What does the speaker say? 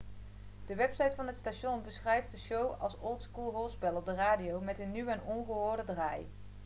de website van het station beschrijft de show als old school hoorspel op de radio met een nieuwe en ongehoorde draai'